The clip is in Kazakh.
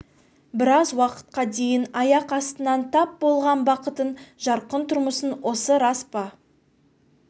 біраз уақытқа дейін аяқ астынан тап болған бақытын жарқын тұрмысын осы рас па